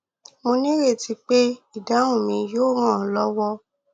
mo ní ìrètí pé ìdáhùn mi yóò ràn ọ lọwọ